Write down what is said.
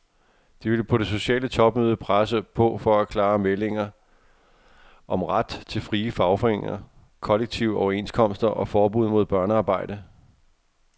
De vil på det sociale topmøde presse på for klare meldinger om ret til frie fagforeninger, kollektive overenskomster og forbud mod børnearbejde.